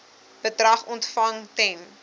bedrag ontvang ten